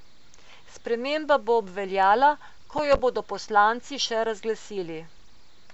Sprememba bo obveljala, ko jo bodo poslanci še razglasili.